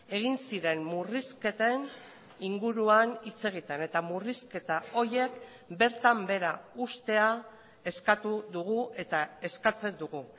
egin ziren murrizketen inguruan hitz egiten eta murrizketa horiek bertan behera uztea eskatu dugu eta eskatzen dugu